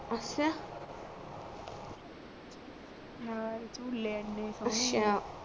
ਨਾਲ ਚੁੱਲ੍ਹੇ ਐਨੇ ਸਹੋਣੇ ਅੱਛਾ